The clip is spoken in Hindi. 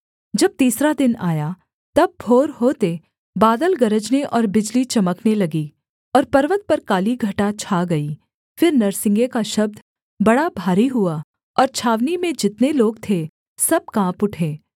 जब तीसरा दिन आया तब भोर होते बादल गरजने और बिजली चमकने लगी और पर्वत पर काली घटा छा गई फिर नरसिंगे का शब्द बड़ा भारी हुआ और छावनी में जितने लोग थे सब काँप उठे